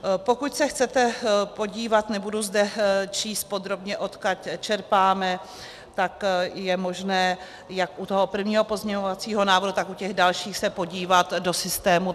Pokud se chcete podívat, nebudu zde číst podrobně, odkud čerpáme, tak je možné jak u toho prvního pozměňovacího návrhu, tak u těch dalších se podívat do systému.